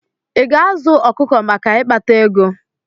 I ga-azụ ọkụkọ maka ikpata ego?